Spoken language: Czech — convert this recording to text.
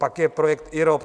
Pak je projekt IROP.